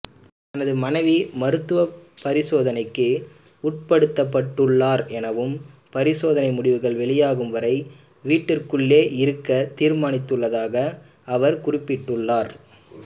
தனது மனைவி மருத்துவபரிசோதனைக்கு உட்படுத்தப்பட்டுள்ளார் எனவும் பரிசோதனை முடிவுகள் வெளியாகும் வரை வீட்டிற்குள்ளேயே இருக்க தீர்மானித்துள்ளதாக அவர் குறிப்பிட்டுள்ளார்